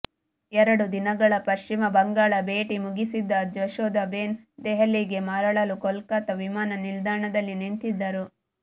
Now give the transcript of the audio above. ಎರಡು ದಿನಗಳ ಪಶ್ಚಿಮ ಬಂಗಾಳ ಭೇಟಿ ಮುಗಿಸಿದ್ದ ಜಶೋದಾಬೇನ್ ದೆಹಲಿಗೆ ಮರಳಲು ಕೋಲ್ಕತ್ತಾ ವಿಮಾನ ನಿಲ್ದಾಣದಲ್ಲಿ ನಿಂತಿದ್ದರು